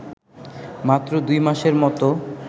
মাত্র দুই মাসের মতো